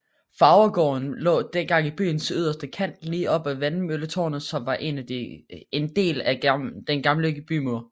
Farvergaarden lå dengang i byens yderste kant lige op ad Vandmølletårnet som var en del af den gamle bymur